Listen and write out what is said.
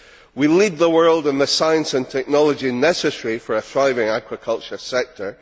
we lead the world in the science and technology necessary for a thriving aquaculture sector.